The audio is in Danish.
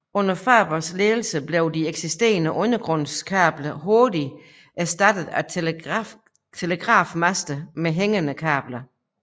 Under Fabers ledelse blev de eksisterende undergrundskabler hurtigt erstattet af telegrafmaster med hængende kabler